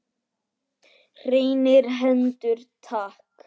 Hreinar hendur takk!